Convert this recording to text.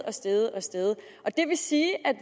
er steget og steget det vil sige at